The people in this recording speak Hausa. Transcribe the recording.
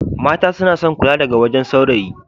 Mata suna son kulawa daga wajen sawrayi